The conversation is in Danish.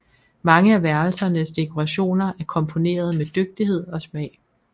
Mange af værelsernes dekorationer er komponerede med dygtighed og smag